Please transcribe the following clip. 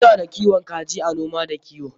Muna da kiwon kaji a noma da kiwo.